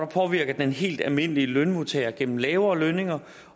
påvirker den helt almindelige lønmodtager igennem lavere lønninger